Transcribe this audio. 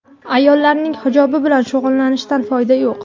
Ayollarning hijobi bilan shug‘ullanishdan foyda yo‘q.